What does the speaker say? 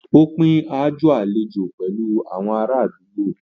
Ó pín aájò àlejò pẹ̀lú àwọn aládùúgbò.